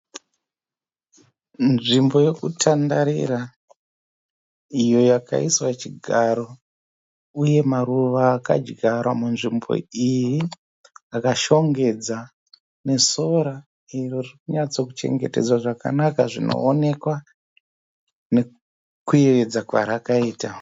Nzvimbo yokutandarira iyo yakaiswa chigaro uye maruva akadyarwa munzvimbo iyi akashongedza nesora iro ririkunyatsokuchengetedzwa zvakanaka zvinoonekwa nokuyevedza kwarakaita.